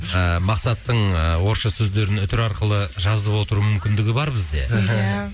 ыыы мақсаттың ы орысша сөздерін үтір арқылы жазып отыру мүмкіндігі бар бізде мхм иә